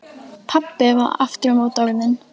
Pabbi var aftur á móti orðinn